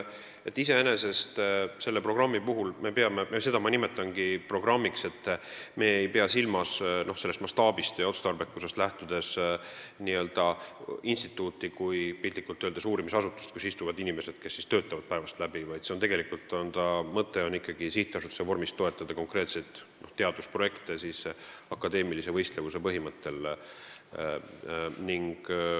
Iseenesest me ei pea selle programmi puhul silmas – ja ma nimetangi seda programmiks mastaabist ja otstarbekusest lähtudes – instituuti kui uurimisasutust, kus istuvad inimesed, kes seal töötavad päevad läbi, vaid tegelikult on selle mõte ikkagi sihtasutuse vormis toetada konkreetseid teadusprojekte akadeemilise võistlevuse põhimõttel.